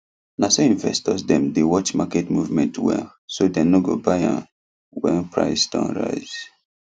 naso investors dem dey watch market movement well so dem no go buy an when price don rise